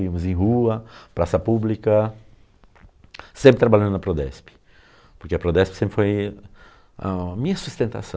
Íamos em rua, praça pública, sempre trabalhando na Prodesp, porque a Prodesp sempre foi a minha sustentação.